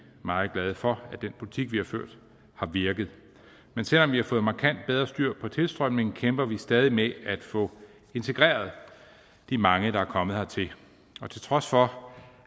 meget glade for at den politik vi har ført har virket men selv om vi har fået markant bedre styr på tilstrømningen kæmper vi stadig med at få integreret de mange der er kommet hertil og til trods for